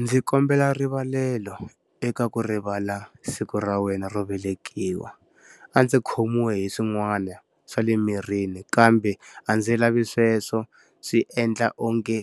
Ndzi kombela rivalelo eka ku rivala siku ra wena ro velekiwa. A ndzi khomiwe hi swin'wana swa le mirini kambe a ndzi lavi sweswo swi endla onge